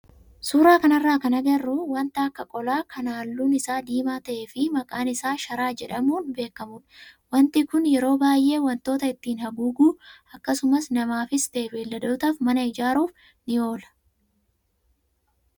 Suuraa kanarraa kan agarru wanta akka qolaa kan halluun isaa diimaa ta'ee fi maqaan isaa sharaa jedhamuun beekamudha. Wanti kun yeroo baay'ee wantoota ittiin haguuguu akkasumas namaafis ta'ee beeyladootaaf mana ijaaruuf ni oola.